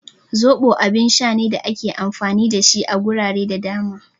Zoɓo abun sha ne da ake amfani da shi a gurare da dama